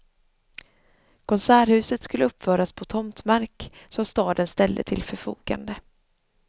Konserthuset skulle uppföras på tomtmark som staden ställde till förfogande.